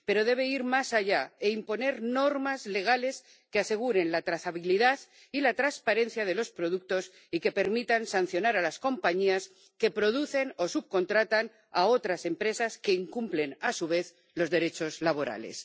Pero debe ir más allá e imponer normas legales que aseguren la trazabilidad y la transparencia de los productos y que permitan sancionar a las compañías que producen o subcontratan a otras empresas que incumplen a su vez los derechos laborales.